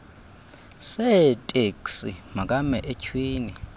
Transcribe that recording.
seeteksi makame etyhwini